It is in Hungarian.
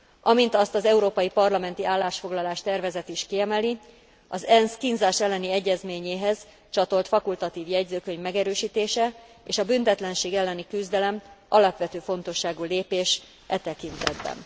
Amint azt az európai parlamenti állásfoglalás tervezet is kiemeli, az ENSZ kínzás elleni egyezményéhez csatolt fakultatív jegyzőkönyv megerősítése és a büntetlenség elleni küzdelem alapvető fontosságú lépés e tekintetben.